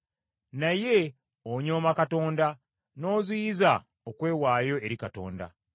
Naye onyooma Katonda n’oziyiza okwewaayo eri Katonda.